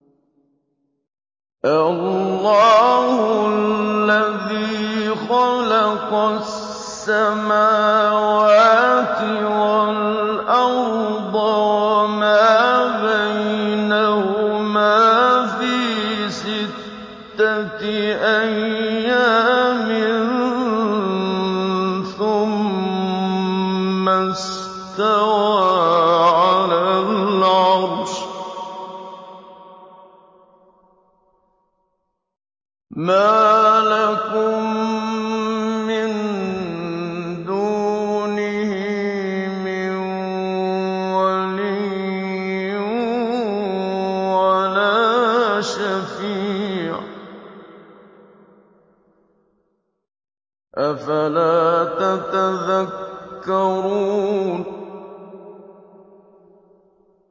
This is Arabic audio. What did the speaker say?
اللَّهُ الَّذِي خَلَقَ السَّمَاوَاتِ وَالْأَرْضَ وَمَا بَيْنَهُمَا فِي سِتَّةِ أَيَّامٍ ثُمَّ اسْتَوَىٰ عَلَى الْعَرْشِ ۖ مَا لَكُم مِّن دُونِهِ مِن وَلِيٍّ وَلَا شَفِيعٍ ۚ أَفَلَا تَتَذَكَّرُونَ